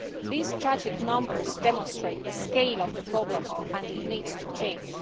These tragic numbers demonstrate the scale of the problem and it needs to change.